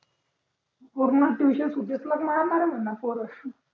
पूर्ण ट्युशन सूट्सलोक मारणार हे म्हणा पोर